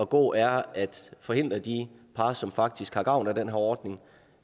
gå er at forhindre de par som faktisk har gavn af den her ordning